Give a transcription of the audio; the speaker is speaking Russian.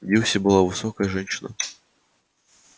дилси была высокая женщина